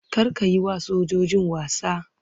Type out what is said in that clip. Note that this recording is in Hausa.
Kar ka yi wa sojojin wasa!